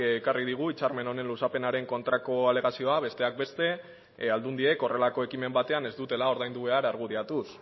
ekarri digu hitzarmen honen luzapenaren kontrako alegazioa besteak beste aldundiek horrelako ekimen batean ez dutela ordaindu behar argudiatuz